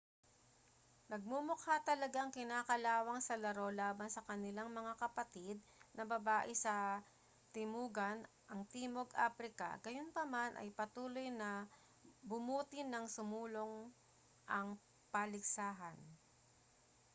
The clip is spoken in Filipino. nagmumukha talagang kinakalawang sa laro laban sa kanilang mga kapatid na babae sa timugan ang timog aprika gayunpaman ay patuloy na bumuti nang sumulong ang paligsahan